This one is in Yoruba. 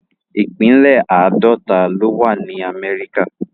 ipínlẹ̀ Àdọ̀tà lo wà ni Àmẹríkà